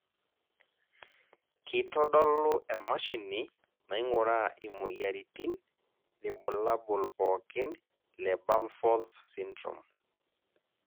kitodolu e mashini naing'uraa imoyiaritin irbulabol pookin le Bamforth syndrome?